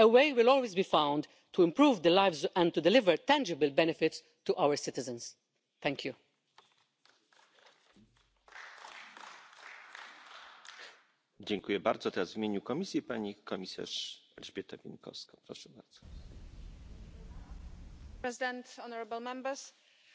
The regulation will also ban any discrimination against cross border citizens or companies who want to make use of national procedures that are already online. They will no longer be blocked because their phone numbers,